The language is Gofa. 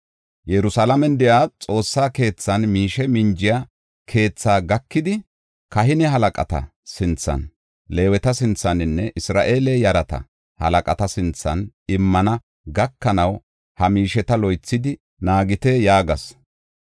Yerusalaamen de7iya Xoossa keethan miishe minjiya keethaa gakidi, kahine halaqata sinthan, Leeweta sinthaninne Isra7eele yarata halaqata sinthan immana gakanaw, ha miisheta loythidi naagite” yaagas.